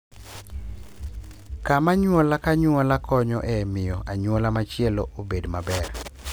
Kama anyuola ka anyuola konyo e miyo anyuola machielo obed maber.